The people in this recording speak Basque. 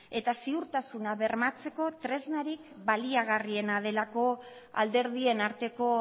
eta ziurtasuna bermatzeko tresnarik baliagarriena delako alderdien arteko